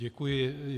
Děkuji.